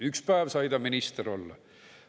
Üks päev sai ta minister olla.